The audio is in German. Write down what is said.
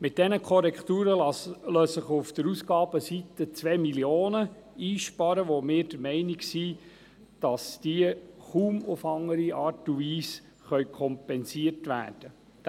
Mit diesen Korrekturen lassen sich auf der Ausgabenseite 2 Mio. Franken einsparen, wobei wir der Meinung sind, dass diese kaum auf eine andere Art und Weise kompensiert werden können.